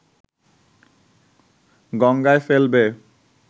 গঙ্গায় ফেলবে